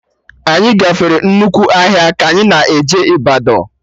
Anyị gafere nnukwu ọhịa ka anyị na-eje Ịbadọ